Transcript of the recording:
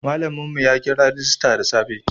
Malamin mu ya kira rajista da safe